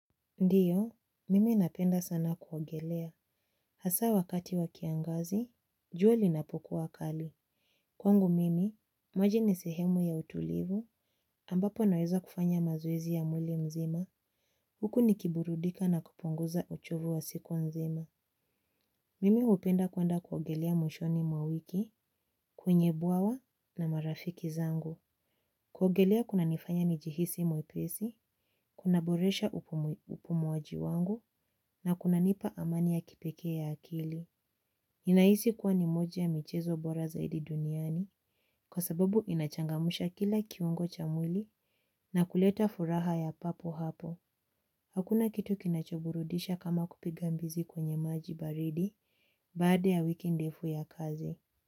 Ndiyo, mimi napenda sana kuogelea. Hasa wakati wakiangazi, jua linapokuwa kali. Kwangu mimi, maji ni sehemu ya utulivu, ambapo naweza kufanya mazowezi ya mwili mzima. Huku nikiburudika na kupunuoza uchovu wa siku nzima. Mimi upenda kuanda kuogelea mwishoni mwawiki, kwenye buawa na marafiki zangu. Kuogelea kunanifanya nijihisi mwepesi, kuna boresha upumuwaji wangu na kunanipa amani ya kipeke ya akili. Inaisi kuwa ni moja michezo bora zaidi duniani kwa sababu inachangamusha kila kiungo cha mwili na kuleta furaha ya papo hapo. Hakuna kitu kinachoburudisha kama kupigambizi kwenye maji baridi baada ya wiki ndefu ya kazi.